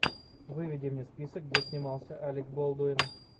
выведи мне список где снимался алек болдуин